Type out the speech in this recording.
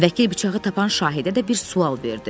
Vəkil bıçağı tapan şahidə də bir sual verdi.